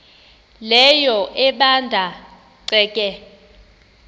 leyo ebanda ceke